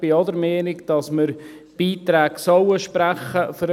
Ich bin auch der Meinung, dass wir Beiträge für den Sportfonds sprechen sollen.